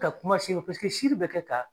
Ka kuma paseke si bɛ kɛ ka